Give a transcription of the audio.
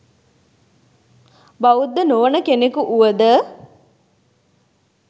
බෞද්ධ නොවන කෙනෙකු වුවද